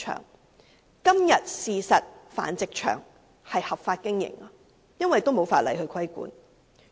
事實上，現時的繁殖場都是合法經營的，因為根本沒有法例規管。